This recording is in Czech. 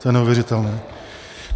To je neuvěřitelné!